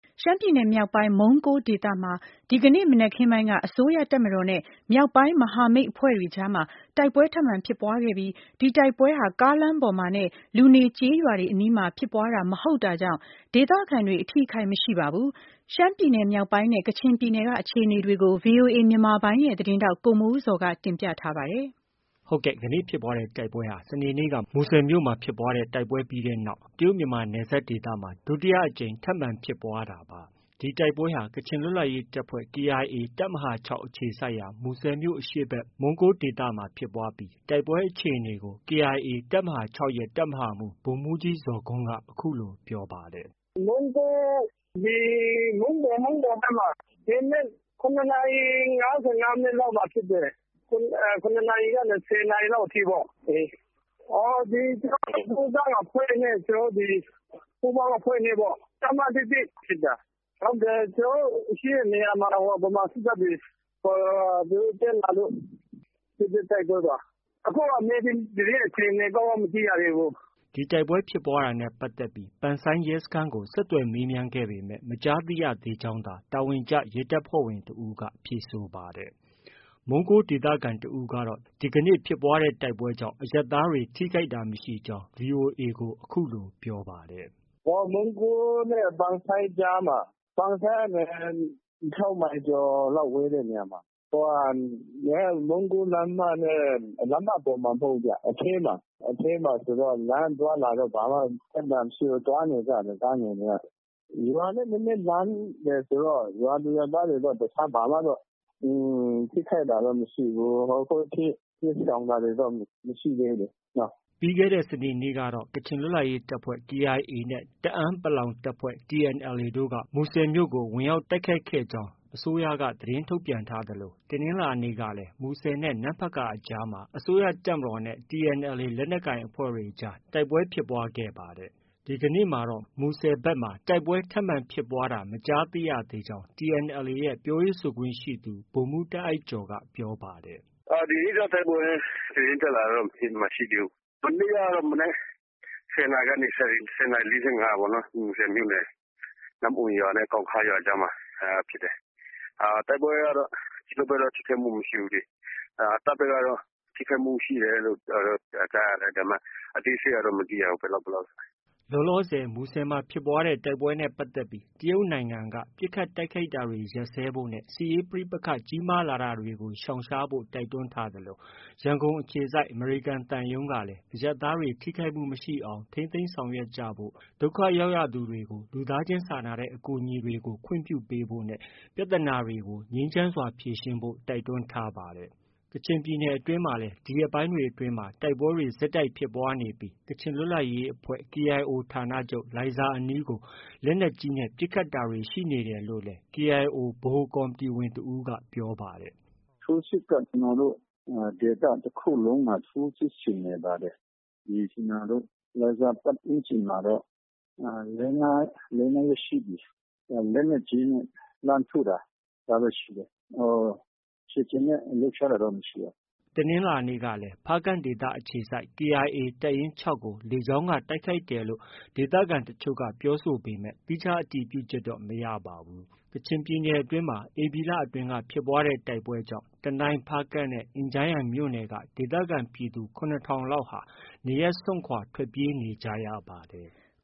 ရှမ်းပြည်နယ်မြောက်ပိုင်း မုန်းကိုးဒေသမှာ ဒီကနေ့မနက်ခင်းပိုင်းက အစိုးရတပ်မတော်နဲ့ မြောက်ပိုင်း မဟာမိတ် အဖွဲ့တွေကြားမှာ တိုက်ပွဲထပ်မံဖြစ်ပွားခဲ့ဲပြီး ဒီတိုက်ပွဲဟာ ကားလမ်း ပေါ်မှာနဲ့ လူနေကျေးရွာတွေအနီးမှာ ဖြစ်ပွားတာ မဟုတ်တာကြောင့် ဒေသခံတွေ အထိအခိုက် မရှိပါဘူး။ ရှမ်းပြည်နယ်မြောက်ပိုင်းနဲ့ ကချင်ပြည်နယ် က အခြေအနေတွေကို ဗွီအိုအေမြန်မာပိုင်းရဲ့ သတင်းထောက် ကိုမိုးဇော်က တင်ပြထားပါတယ်။ ဒီကနေ့ဖြစ်ပွားတဲ့ တိုက်ပွဲဟာ စနေနေ့က မူဆယ်မြို့မှာ တိုက်ပွဲဖြစ်ပွားခဲ့တဲ့နောက် တရုတ်- မြန်မာနယ်စပ် ဒေသမှာ ဒုတိယအကြိမ်ထပ်မံ ဖြစ်ပွားတဲ့ တိုက်ပွဲလည်းဖြစ်ပါတယ်။ ဒီတိုက်ပွဲဟာ ကချင်လွတ်လပ်ရေးတပ်ဖွဲ့ KIA တပ်မဟာ၆ အခြေစိုက်ရာ မူဆယ်မြို့အရှေ့ဖက် မုန်းကိုးဒေသမှာ ဖြစ်ပွားတာဖြစ်ပြီး တိုက်ပွဲအခြေအနေကို KIA တပ်မဟာ၆ရဲ့ တပ်မဟာမှုးဗိုလ်မှုးကြီး ဇော်ဂွန်းက အခုလို ပြောပါတယ်။ “ မုန်းကိုး ဒီ မုန်းပေါ်ဖက်မှာ၊ ဒီနေ့ ၇နာရီ ၅၅မိနစ်လောက်မှာဖြစ်တယ်။ ၇နာရီကနေ ၁၀နာရီလောက် အထိပေါ့။ ကျနော်တို့ ဒီကိုးကန့်အဖွဲ့နဲ့ ပူးပေါင်းအဖွဲ့နဲ့ ဒီတပ်မ ၁၁နဲ့ ဖြစ်တာ။ ကျနော်တို့ ရှိတဲ့နေရာမှာ ဗမာစစ်တပ်တွေ သူတို့ တက်လာလို့ ဖြစ်တဲ့ တိုက်ပွဲပါ။ အခုက မြေပြင်သတင်းအခြေအနေ ကောင်း ကောင်း မသိရသေးဘူး။ ” ဒီတိုက်ပွဲဖြစ်ပွားတာနဲ့ပတ်သက်ပြီး ပန်ဆိုင်းရဲစခန်းကို ဆက်သွယ်မေးမြန်းခဲ့ပေမဲ့ မကြားသိရသေးကြောင်းသာ တာဝန်ကျရဲတပ်ဖွဲ့ဝင်တဦးက ဖြေဆိုပါတယ်။ မုန်းကိုးဒေသခံတဦးကတော့ ဒီကနေ့ဖြစ်ပွားတဲ့တိုက်ပွဲကြောင့် အရပ်သားတွေ ထိခိုက်တာမရှိဘူးလို့ VOA ကို ပြောပါတယ်။ “မုန်းကိုးနဲ့ ပန်ဆိုင်းကြားမှာ။ ပန်ဆိုင်းကနေ ၆မိုင်ကျော်လောက် ဝေးတဲ့နေရာမှာ။ မုန်းကိုးလမ်းမနဲ့.. လမ်းမ ပေါ်မှာမဟုတ်ဘူးဗျ။ အထဲမှာ။ အထဲမှာဆိုတော့ လမ်းအသွားအလာ ဘာမှ ပြဿနာမရှိဘူး။ သွားနေကြတယ် ကားငယ်တွေက။ ရွာနဲ့ နည်းနည်းလှမ်းတယ်ဆိုတော့ ရွာသူရွာသားတွေတော့ တခြားဘာမှ ထိခိုက်တာတော့ မရှိဘူး။ ခုထိ တိမ်းရှောင်တာတွေတော့ မရှိသေးဘူးလေ။ ” ပြီးခဲ့တဲ့စနေနေ့ကတော့ ကချင်လွတ်လပ်ရေးတပ်ဖွဲ့ KIA နဲ့ တအာင်း တပ်ဖွဲ့ TNLA တို့က မူဆယ်မြို့ကို ဝင်ရောက်တိုက်ခိုက်ခဲ့ကြောင်း အစိုးရက သတင်းထုတ်ပြန်ထားသလို တနင်္လာနေ့မှာလည်း မူဆယ်နဲ့ နမ့်ဖတ်ကာအကြားမှာ အစိုးရတပ်မတော်နဲ့ TNLAလက်နက်ကိုင်အဖွဲ့တွေကြား တိုက်ပွဲဖြစ်ခဲ့ပါတယ်။ ဒီကနေ့မှာတော့ မူဆယ်ဒေသဖက်မှာ တိုက်ပွဲထပ်မံဖြစ်ပွားတာ မကြားရသေးကြောင်း TNLA ရဲ့ ပြောရေးဆိုခွင့်ရှိသူ ဗိုလ်မှုးတာအိုက်ကျော်က ပြောပါတယ်။ “ ဒီနေ့တော့ တိုက်ပွဲသတင်းတက်လာတာတော့ မရှိသေးဘူး။ မနေ့ကတော့ မနက် ၁၀နာရီကနေ ၁၀နာရီ ၄၅ပေါ့နော် မူဆယ်မြို့နယ် နမ့်အွန်ရွာနဲ့ ကောင်းခါးရွာကြားမှာဖြစ်တယ်။ တိုက်ပွဲကတော့ ကျနော်တို့ဖက်တော့ ထိခိုက်မှုမရှိဘူးလေ။ တပ်ဖက်ကတော့ ထိခိုက်မှုရှိတယ်လို့ ကြားတယ်။ အသေးစိတ်ကတော့ မသိရဘူး။ ဘယ်လောက် ဘယ်လောက် ဆိုတာ။ ” လောလောဆည် မူဆယ်မှာဖြစ်ပွားခဲ့တဲ့တိုက်ပွဲနဲ့ပတ်သက်ပြီး တရုတ်နိုင်ငံက ပစ်ခတ်တိုက်ခိုက်တာတွေ ရပ်စဲဖို့နဲ့ စစ်ရေးပဋိပက္ခကြီးမားလာတာကို ရှောင်ရှားဖို့ တိုက်တွန်းထားသလို ရန်ကုန်အခြေစိုက် အမေရိကန်သံရုံးကလည်း အရပ်သားတွေ ထိခိုက်မှုမရှိအောင် ထိန်းသိမ်းဆောင်ရွက်ကြဖို့၊ ဒုက္ခရောက်ရသူတွေကို လူသားချင်းစာနာတဲ့ အကူအညီပေးတာတွေကို ခွင့်ပြုဖို့၊ ပြဿနာတွေကို ငြိမ်းချမ်းစွာဖြေရှင်းဖို့ တိုက်တွန်းထားပါတယ်။ ကချင်ပြည်နယ်အတွင်းမှာလည်း ဒီရက်ပိုင်းတွေအတွင်း တိုက်ပွဲတွေဆက်တိုက်ဖြစ်ပွားနေပြီး ကချင် လွတ်လပ်ရေးအဖွဲ့ KIO ဌာနချုပ် လိုင်ဇာအနီးကို လက်နက်ကြီးနဲ့ ပစ်ခတ်တာတွေ ရှိနေတယ်လို့လည်း KIO ဗဟိုကော်မတီဝင်တဦးက ပြောပါတယ်။ “ထိုးစစ်က ကျနော်တို့ ဒေသတခုလုံးမှာ ထိုးစစ်ဆင်နေပါတယ်။ ကျနော်တို့ လိုင်ဇာပတ်ဝန်းကျင်မှာတော့ လေး၊ ငါးရက်ရှိပြီ လက်နက်ကြီးနဲ့ လှမ်းထုတာ။ ဒါတော့ ရှိတယ်။ ခြေလျင်နဲ့ လှုပ်ရှားတာတော့ မရှိပါဘူး။ ” တနင်္လာနေ့ကလည်း ဖားကန့်ဒေသ အခြေစိုက် KIA တပ်ရင်း ၆ကို လေကြောင်းက တိုက်ခိုက်တယ်လို့ ဒေသခံတချို့က ပြောပေမဲ့ သီးခြားအတည်ပြုချက်တော့ မရပါဘူး။ ကချင်ပြည်နယ်အတွင်းမှာ ဧပြီလအတွင်းက ဖြစ်ပွားတဲ့ တိုက်ပွဲတွေကြောင့် တနိုင်း၊ ဖားကန့်နဲ့ အင်ဂျန်းယန်မြို့နယ်က ဒေသခံပြည်သူ ၇ထောင်လောက်ဟာ နေရပ်စွန့်ခွာ ထွက်ပြေးနေရပါတယ်။